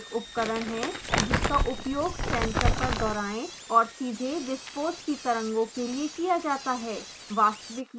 shock tube एक उपकरण है जिसका उपयोग सेंसर पर दोहराये और सीधे विस्फोट की तरंगों के लिए किया जाता है